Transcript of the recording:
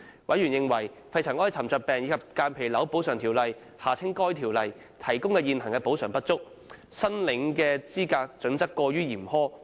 委員認為，《肺塵埃沉着病及間皮瘤條例》提供的現行補償不足，申領資格準則過於嚴苛。